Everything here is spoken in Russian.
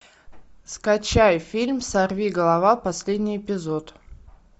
скачай фильм сорвиголова последний эпизод